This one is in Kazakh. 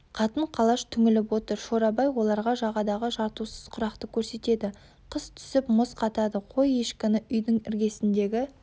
қатын-қалаш түңіліп отыр шорабай оларға жағадағы жартусыз құрақты көрсетеді қыс түсіп мұз қатады қой-ешкіні үйдің іргесіндегі